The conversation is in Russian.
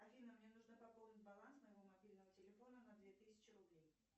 афина мне нужно пополнить баланс моего мобильного телефона на две тысячи рублей